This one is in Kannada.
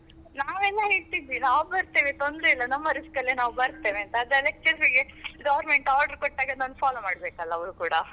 ನಾವೆಲ್ಲ ಹೇಳ್ತಿದ್ವಿ ನಾವ್ ಬರ್ತೇವೆ ತೊಂದ್ರೆ ಇಲ್ಲ ನಮ್ಮ risk ಅಲ್ಲಿ ನಾವ್ ಬರ್ತೇವೆ ಅಂತ. ಆದ್ರೆ ಅದೇ lectures ಗೆ government order ಕೊಟ್ಟಾಗ ಅದನ್ನ follow ಮಾಡಬೇಕಲ್ಲ ಅವರು ಕೂಡ.